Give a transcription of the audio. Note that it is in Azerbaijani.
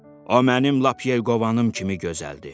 O mənim lap Yelkovanım kimi gözəldir.